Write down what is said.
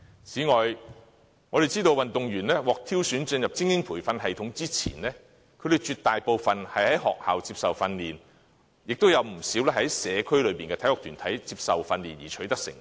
此外，我們知道運動員獲挑選進入精英培訓系統之前，絕大部分在學校接受訓練，亦有不少在社區內的體育團體接受訓練而取得成績。